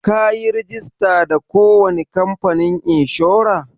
Ka yi rajista da ko wani kamfanin inshora?